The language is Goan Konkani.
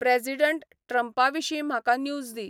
प्रॅजिडँट ट्रंपा विशीं म्हाका न्यूज दी